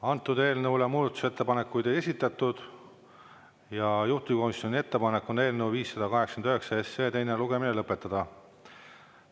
Antud eelnõule muudatusettepanekuid ei esitatud ja juhtivkomisjoni ettepanek on eelnõu 589 teine lugemine lõpetada.